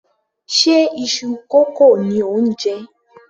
Ṣe iṣu kókò ni ò ń jẹ?